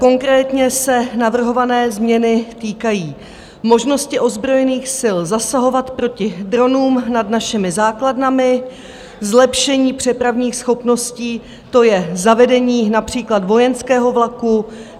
Konkrétně se navrhované změny týkají možnosti ozbrojených sil zasahovat proti dronům nad našimi základnami, zlepšení přepravních schopností, to je zavedení například vojenského vlaku.